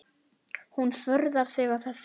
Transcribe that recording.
Hún furðar sig á þessu.